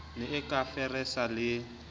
ne a ka feresa le